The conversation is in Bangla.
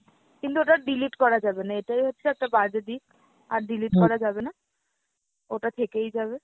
কিন্তু ওটা delete করা যাবে না এইটাই হচ্ছে একটা বাজে দিক। আর delete করা যাবে না, ওটা থেকেই যাবে।